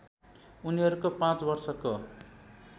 उनीहरूको पाँच वर्षको